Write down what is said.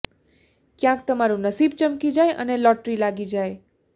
ક્યાંક તમારું નસીબ ચમકી જાય અને લોટરી લાગી જાય